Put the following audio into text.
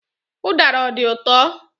Udara ọ dị ụtọ?